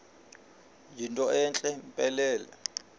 yinto entle mpelele